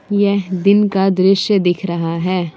यह दिन का दृश्य दिख रहा है।